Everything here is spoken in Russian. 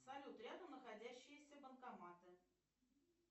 салют рядом находящиеся банкоматы